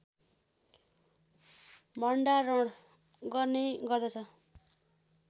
भण्डारण गर्ने गर्दछ